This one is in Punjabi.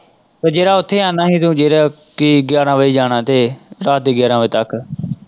ਤੇ ਜਿਹੜਾ ਉੱਥੇ ਆਉਣਾ ਹੀ ਤੂੰ ਗਿਆਰਾਂ ਵਜੇ ਜਾਣਾ ਤੇ ਰਾਤ ਦੇ ਗਿਆਰਾਂ ਵਜੇ ਤੱਕ।